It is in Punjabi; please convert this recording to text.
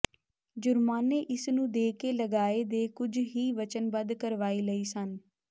ਜੁਰਮਾਨੇ ਇਸ ਨੂੰ ਦੇ ਕੇ ਲਗਾਏ ਦੇ ਕੁਝ ਹੀ ਵਚਨਬੱਧ ਕਾਰਵਾਈ ਲਈ ਸਨ